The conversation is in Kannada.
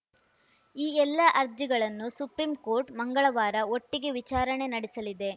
ಈ ಎಲ್ಲಾ ಅರ್ಜಿಗಳನ್ನು ಸುಪ್ರೀಂಕೋರ್ಟ್‌ ಮಂಗಳವಾರ ಒಟ್ಟಿಗೆ ವಿಚಾರಣೆ ನಡೆಸಲಿದೆ